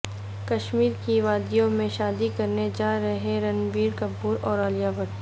کشمیرکی وادیوں میں شادی کرنے جارہے ہیں رنبیر کپور اور عالیہ بھٹ